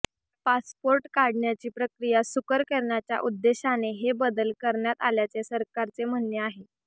passport काढण्याची प्रक्रिया सुकर करण्याच्या उद्देशाने हे बदल करण्यात आल्याचे सरकारचे म्हणणे आहे